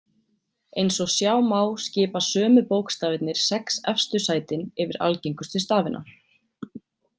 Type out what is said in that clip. Eins og sjá má skipa sömu bókstafirnir sex efstu sætin yfir algengustu stafina.